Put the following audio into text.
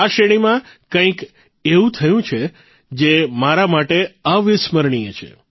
આ શ્રેણીમાં કંઇક એવું થયું છે જે મારા માટે અવિસ્મરણીય છે